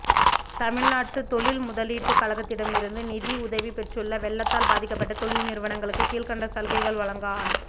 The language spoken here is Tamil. தமிழ்நாடு தொழில் முதலீட்டுக் கழகத்திடமிருந்து நிதி உதவி பெற்றுள்ள வெள்ளத்தால் பாதிக்கப்பட்ட தொழில் நிறுவனங்களுக்கு கீழ்க்கண்ட சலுகைகள் வழங்க ஆணை